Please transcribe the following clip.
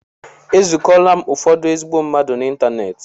E zukola m ụfọdụ ezigbo mmadụ n'ịntanetị.